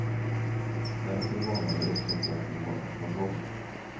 Därför varnar vi också för att vi har en kontroll.